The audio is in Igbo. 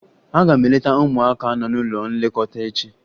Aga m eleta ụmụaka nọ n'ụlọ nlekọta echi